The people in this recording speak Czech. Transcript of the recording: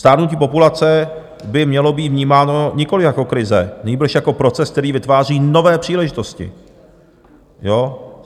Stárnutí populace by mělo být vnímáno nikoliv jako krize, nýbrž jako proces, který vytváří nové příležitosti.